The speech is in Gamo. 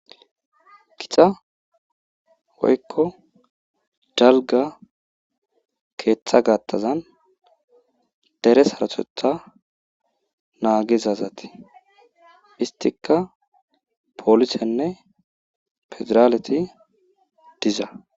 Kita woykko dalga keeththa gattazan dere harotetha naagizazati histika poolisenne pedraaleti diza.